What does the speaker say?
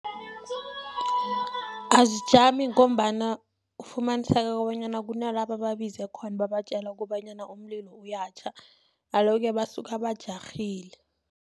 Azijami ngombana ufumaniseka kobanyana kunala bababize khona babatjela kobanyana umlilo uyatjha, alo-ke basuka bajarhile.